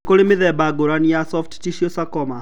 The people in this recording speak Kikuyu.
Nĩ kũrĩ mĩthemba ngũrani ya soft tissue sarcoma.